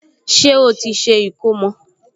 Ṣé ó ti ṣe ìkómọ?